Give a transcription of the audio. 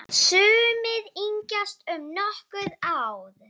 Sumir yngjast um nokkur ár.